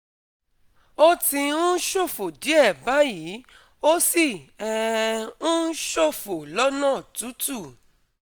Ó ti ń ṣòfò díẹ̀ báyìí, ó sì um ń ṣòfò lọ́nà tútù